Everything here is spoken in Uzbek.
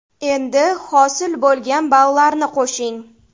Endi hosil bo‘lgan ballarni qo‘shing.